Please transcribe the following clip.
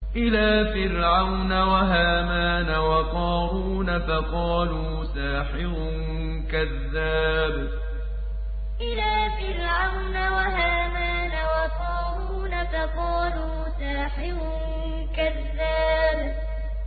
إِلَىٰ فِرْعَوْنَ وَهَامَانَ وَقَارُونَ فَقَالُوا سَاحِرٌ كَذَّابٌ إِلَىٰ فِرْعَوْنَ وَهَامَانَ وَقَارُونَ فَقَالُوا سَاحِرٌ كَذَّابٌ